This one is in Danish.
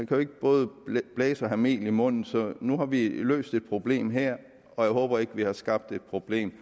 jo ikke både blæse blæse og have mel i munden nu har vi løst et problem her og jeg håber ikke vi har skabt et problem